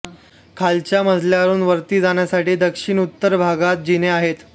खालच्या मजल्यावरून वरती जाण्यासाठी दक्षिणोत्तर भागात जिने आहेत